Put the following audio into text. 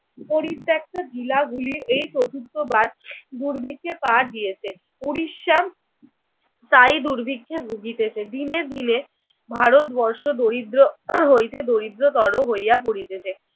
পরিত্যাক্ত জিলাগুলি এই চতুর্থবার দুর্ভিক্ষে পা দিয়েছে। উড়িষ্যা প্রায়ই দুর্ভিক্ষে ভুগিতেছে। দিনে দিনে ভারতবর্ষ দরিদ্র হইতে দরিদ্রতর হইয়া পড়িতেছে।